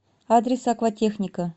адрес акватехника